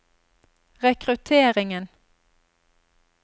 rekrutteringen